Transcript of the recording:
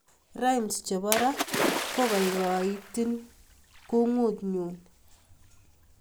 rhymes chepo rap kokaikaiiakungut nyuu